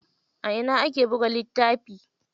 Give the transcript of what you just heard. A ina ake buga littafi?